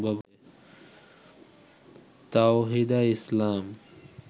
Tawhida Islam